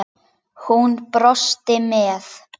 Hún brosti með